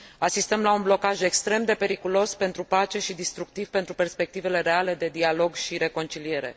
Asistăm la un blocaj extrem de periculos pentru pace și distructiv pentru perspectivele reale de dialog și reconciliere.